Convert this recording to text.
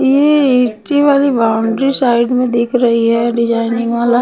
ये एटीवाली boundary side में दिख रही है डिजायनिंग वाला --